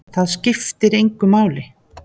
Það skiptir engu máli!